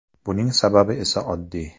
Buning sababi esa oddiy.